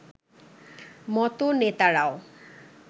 মতো নেতারাও